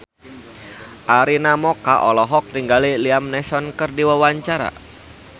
Arina Mocca olohok ningali Liam Neeson keur diwawancara